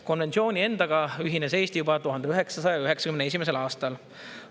Konventsiooni endaga ühines Eesti juba 1991. aastal.